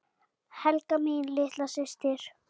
Helga mín litla systir.